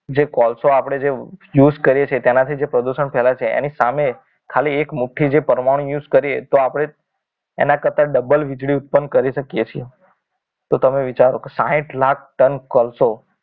જે કોલસો જે આપણે use કરીએ છીએ તેના થી જે પ્રદૂષણ ફેલાય છે એની સામે ખાલી એક મુઠ્ઠી જે પરમાણુ use કરીએ તો આપણે એના કરતા ડબલ વીજળી ઉત્પન્ન કરી શકીએ છીએ તો તમે વિચારો કે સાહીંઠ લાખ ટન કોલસો